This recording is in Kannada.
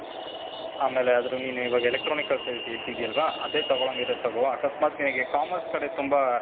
ಆಮೇಲೆ ಆದ್ರೆ ನೀನ್ ಇವಾಗ electronics ಅಂತ ಹೇಳ್ತಿದೀ ಅಲ್ವಾ? ಅದೇ ತಗೊಳಂಗ್ ಇದ್ರೆ ತಗೋ. ಅಕಸ್ಮಾತ್ ನಿನಿಗೆ commerce ಕಡೆ ತುಂಬಾ,